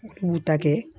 K'u ta kɛ